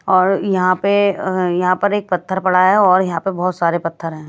और यहां पे यहां पर एक पत्थर पड़ा है और यहां पे बहुत सारे पत्थर हैं।